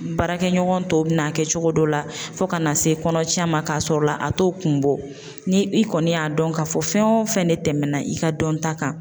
Baarakɛɲɔgɔn tɔw bɛ n'a kɛ cogo dɔ la fo ka na se kɔnɔcɛ ma k'a sɔrɔ a t'o kun bɔ ni i kɔni y'a dɔn k'a fɔ fɛn o fɛn de tɛmɛna i ka dɔnta kan.